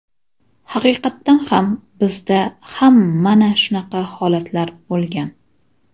Haqiqatan ham bizda ham mana shunaqa holatlar bo‘lgan.